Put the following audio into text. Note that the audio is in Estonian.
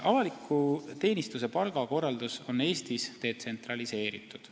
" Avaliku teenistuse palgakorraldus on Eestis detsentraliseeritud.